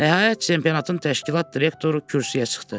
Nəhayət çempionatın təşkilat direktoru kürsüyə çıxdı.